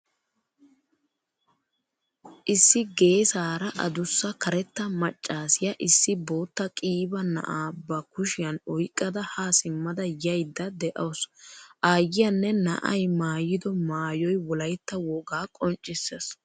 Issi geesaara addussa karetta maccasiyaa issi bootta qiiba na'aa ba kushyan oyqqada ha simmada yayda deawusu. Aayiyanne na'ay maayido maayoy wolaytta wogaa qonccissees.